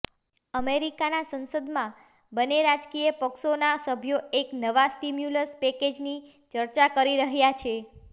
અમેરિકાના સંસદમાં બંને રાજકીય પક્ષોના સભ્યો એક નવા સ્ટિમ્યુલસ પેકેજની ચર્ચા કરી રહ્યાં છે